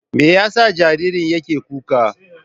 Me yasa jaririn yake kuka?